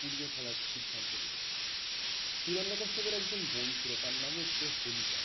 পুড়িয়ে ফেলার সিদ্ধান্ত নিল। হিরণ্যকশ্যপর একজন বোন ছিল তার নাম ছিল হোলিকা।